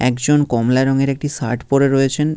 একজন কমলা রঙের একটি শার্ট পরে রয়েছেন।